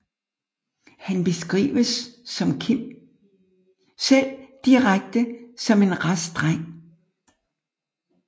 Han beskrives som Kim selv indirekte som en rask dreng